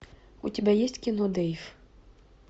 у тебя есть кино дейв